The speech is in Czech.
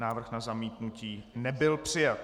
Návrh na zamítnutí nebyl přijat.